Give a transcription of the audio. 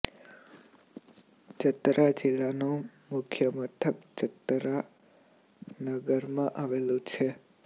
ચતરા જિલ્લાનું મુખ્ય મથક ચતરા નગરમાં આવેલું છે